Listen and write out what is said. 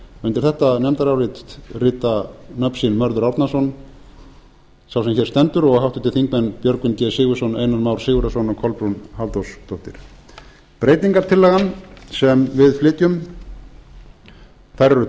undir þetta nefndarálit rita nöfn sín mörður árnason sá sem hér stendur og háttvirtir þingmenn björgvin g sigurðsson einar már sigurðarson og kolbrún halldórsdóttir breytingartillögurnar sem við flytjum eru